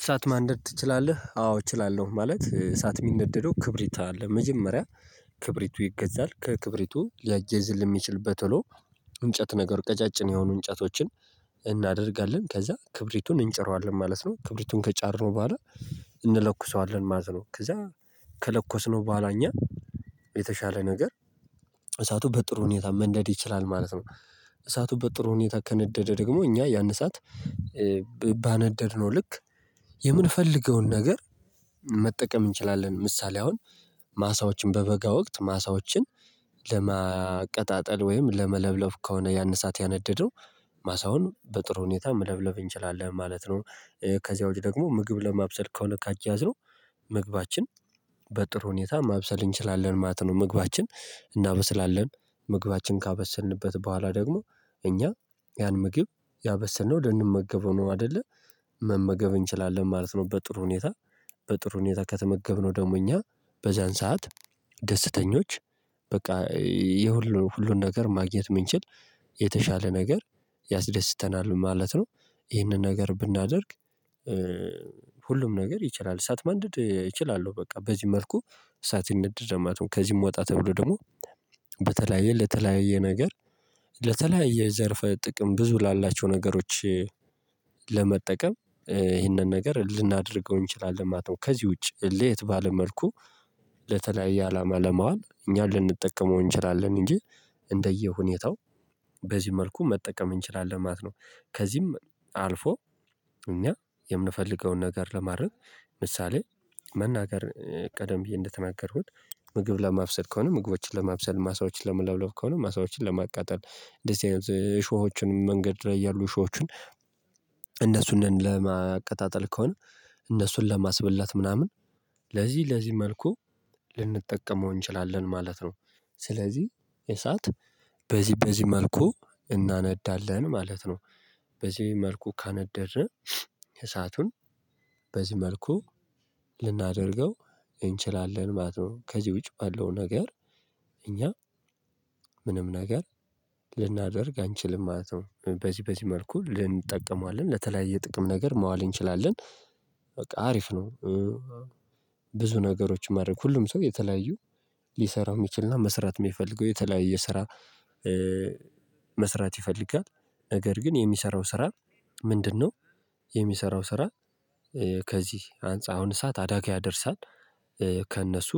እሳት ማንደድ ትችላለህ? አዎ እችላለው ማለት እሳት የሚነደደው ክብሪት አለ። መጀመሪያ ክብሪቱ ይገዛል ከክብሪቱ ሊያያይዝልን የሚችል በቶሎ እንጨት ነገር ቀጫጭን የሆኑ እንጨቶችን። እናደርጋለን ከዛ ክብሪቱን እንጭረዋለን ማለት ነው። ክብሪቱን ከጫረነው በኋላ እንለኩሰዋለን ማለት ነው። ከዛ ከለኮስነው በኋላ እኛ የተሻለ ነገር እሳቱ በጥሩ ሁኔታ መንደድ ይችላል ማለት ነው። እሳቱ በጥሩ ሁኔታ ከነደደ ደግሞ እኛ ያን እሳት ባነደድነው ልክ የምንፈልገውን ነገር መጠቀም እንችላለን። ምሳሌ አሁን ማሳዎችን በበጋ ወቅት ማሳዎችን ለማቀጣጠል ወይም ለመለብለብ ከሆነ ያን እሳት ያነደደው ማሳውን በጥሩ ሁኔታ መለብለብ እንችላለን ማለት ነው። ከዚያ ውጪ ደግሞ ምግብ ለማብሰል ከሆነ ካያያዝነው ምግባችን በጥሩ ሁኔታ ማብሰል እንችላለን ማለት ነው። ምግባችን እናበስላለን ምግባችን ካበሰልንበት በኋላ ደግሞ እኛ ያን ምግብ ያበሰልነው ልንመገበው ነው አይደለ መመገብ እንችላለን ማለት ነው። በጥሩ ሁኔታ በጥሩ ሁኔታ ከተመገብነው ደግሞ እኛ በዚያን ሰዓት ደስተኞች በቃ። የሁሉ ሁሉን ነገር ማግኘት የምንችል የተሻለ ነገር ያስደስተናል ማለት ነው። ይህንን ነገር ብናደርግ ሁሉም ነገር ይችላል እሳት ማንደድ እችላለሁ በቃ በዚህ መልኩ እሳት ይነደዳል ማለት ነው። ከዚህም ወጣ ተብሎ ደግሞ በተለያየ ለተለያየ ነገር ለተለያየ ዘርፈ ጥቅም ብዙ ላላቸው ነገሮች ለመጠቀም ይህንን ነገር ልናደርገው እንችላለን ማለት ነው። ከዚህ ውጪ ለየት ባለ መልኩ ለተለያየ አላማ ለማዋል እኛ ልንጠቀመው እንችላለን እንጂ እንደየሁኔታው በዚህ መልኩ መጠቀም እንችላለን ማለት ነው። ከዚህም አልፎ እኛ የምንፈልገውን ነገር ለማድረግ ምሳሌ መናገር ቀደም ብዬ እንደተናገርኩት። ምግብ ለማብሰል ከሆነ ምግቦችን ለማብሰል ማሳዎችን ለመለብለብ ከሆነ ማሳዎችን ለማቃጠል እንደዚህ አይነት እሾሆችን መንገድ ላይ ያሉ እሾሆችን። እነሱን ለማቀጣጠል ከሆነ እነሱን ለማስበላት ምናምን ለዚህ ለዚህ መልኩ ልንጠቀመው እንችላለን ማለት ነው። ስለዚህ እሳት በዚህ በዚህ መልኩ እናነዳለን ማለት ነው። በዚህ መልኩ ካነደድን እሳቱን በዚህ መልኩ ልናደርገው እንችላለን ማለት ነው። ከዚህ ውጪ ባለው ነገር እኛ ምንም ነገር ልናደርግ አንችልም ማለት ነው። በዚህ በዚህ መልኩ ልእንጠቀመዋለን ለተለያየ ጥቅም ነገር ማዋል እንችላለን በቃ አሪፍ ነው። ብዙ ነገሮችን ማድረግ ሁሉም ሰው የተለያዩ ሊሰራው የሚችል እና መስራት የሚፈልገው የተለያየ ስራ መስራት ይፈልጋል ነገር ግን የሚሰራው ስራ ምንድንነው? የሚሰራው ስራ ከዚህ አንፃር አሁን እሳት አደጋ ያደርሳል ከእነሱ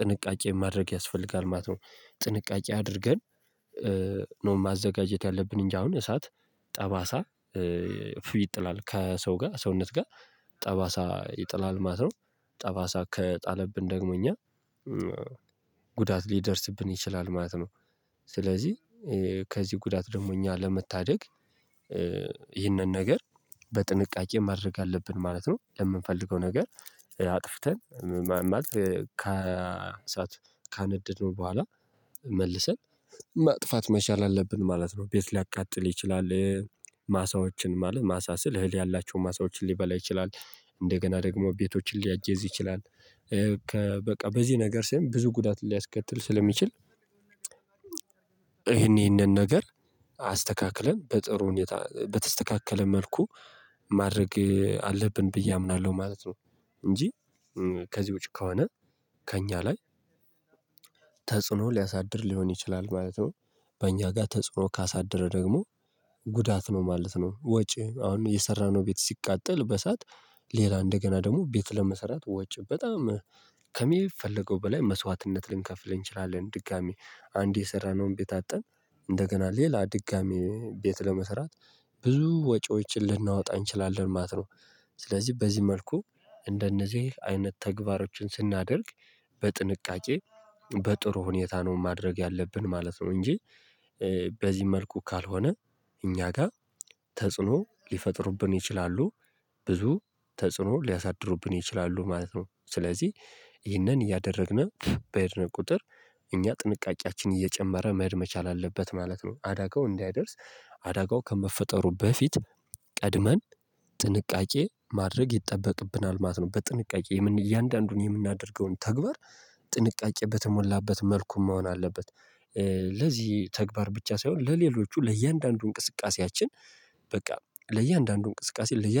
ጥንቃቄ ማድረግ ያስፈልጋል ማለት ነው። ጥንቃቄ አድርገን ነው ማዘጋጀት ያለብን እንጂ አሁን እሳት ጠባሳ ይጥላል ከሰው ጋር ሰውነት ጋር ጠባሳ ይጥላል ማለት ነው። ጠባሳ ከጣለብን ደግሞ እኛ ጉዳት ሊደርስብን ይችላል ማለት ነው። ስለዚህ ከዚህ ጉዳት ደግሞ እኛ ለመታደግ ይህንን ነገር በጥንቃቄ ማድረግ አለብን ማለት ነው። ለምንፈልገው ነገር አጥፍተን ማለት ካነደድነው በኋላ መልሰን ማጥፋት መቻል አለብን ማለት ነው። ቤት ሊያቃጥል ይችላል። ማሳዎችን ማለት ማሳ ስል እህል ያላቸውን ማሳዎችን ሊበላ ይችላል እንደገና ደግሞ ቤቶችን ሊያያይዝ ይችላል። በቃ በዚህ ነገር ስም ብዙ ጉዳት ሊያስከትል ስለሚችል። ይሄን ይሄንን ነገር አስተካክለን በጥሩ ሁኔታ በተስተካከለ መልኩ ማድረግ አለብን ብዬ አምናለሁ ማለት ነው። እንጂ ከዚህ ውጭ ከሆነ ከእኛ ላይ ተጽዕኖ ሊያሳድር ሊሆን ይችላል ማለት ነው። በእኛ ጋር ተጽዕኖ ካሳደረ ደግሞ ጉዳት ነው ማለት ነው። ወጪ አሁን የሰራነው ቤት ሲቃጠል በእሳት ሌላ እንደገና ደግሞ ቤት ለመሰራት ወጪ በጣም ከሚፈለገው በላይ መስዋዕትነት ልንከፍል እንችላለን። ድጋሚ አንዴ የሰራነውን ቤት አጠን እንደገና ሌላ ድጋሚ ቤት ለመስራት ብዙ ወጪዎችን ልናወጣ እንችላለን ማለት ነው። ስለዚህ በዚህ መልኩ እንደነዚህ አይነት ተግባሮችን ስናደርግ በጥንቃቄ በጥሩ ሁኔታ ነው ማድረግ ያለብን ማለት ነው። እንጂ በዚህ መልኩ ካልሆነ እኛ ጋር ተጽዕኖ ሊፈጥሩብን ይችላሉ ብዙ ተጽዕኖ ሊያሳድሩብን ይችላሉ ማለት ነው። ስለዚህ ይህንን እያደረግን በሄድን ቁጥር እኛ ጥንቃቄያችን እየጨመረ መሄድ መቻል አለበት ማለት ነው። አደጋው እንዳይደርስ አደጋው ከመፈጠሩ በፊት ቀድመን ጥንቃቄ ማድረግ ይጠበቅብናል ማለት ነው። በጥንቃቄ እያንዳንዱን የምናደርገውን ተግባር ጥንቃቄ በተሞላበት መልኩ መሆን አለበት። ለዚህ ተግባር ብቻ ሳይሆን ለሌሎቹ ለእያንዳንዱ እንቅስቃሴያችን በቃ ለእያንዳንዱ እንቅስቃሴ።